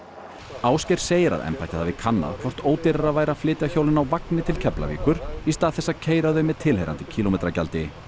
Ásgeir segir að embættið hafi kannað hvort ódýrara væri að flytja hjólin á vagni til Keflavíkur í stað þess að keyra þau með tilheyrandi kílómetragjaldi